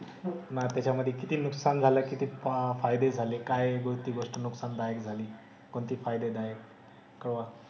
त्याच्यामध्ये किती नुकसान झालं, किती पा फायदे झाले, काय कोणती वस्तू नुकसानदायक झाली, कोणती फायदेदायक कळवा.